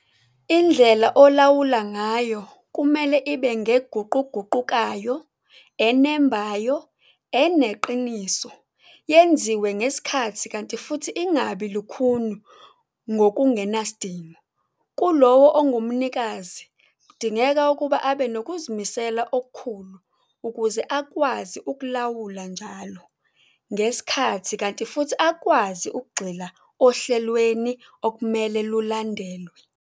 Indlela olawula ngayo kumele ibe ngeguquguqukayo, enembayo, eneqiniso, yenziwe ngesikhathi kanti futhi ingabi lukhuni ngokungenasidingo. Kulowo ongumnikazi kudingeka ukuba abe nokuzimisela okukhulu ukuze akwazi ukulawula njalo, ngesikhathi kanti futhi akwazi ukugxila ohlelweni okumele lulandelwe.